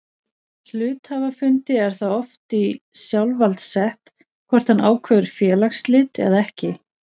Hluthafafundi er það oft í sjálfsvald sett hvort hann ákveður félagsslit eða ekki.